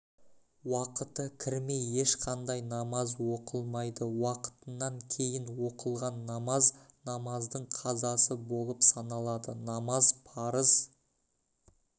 уақыты кірмей ешқандай намаз оқылмайды уақытынан кейін оқылған намаз намаздың қазасы болып саналады намаз парыз